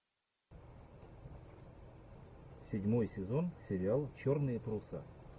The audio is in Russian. седьмой сезон сериал черные паруса